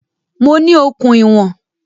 Mo ní okùn ìwọ̀n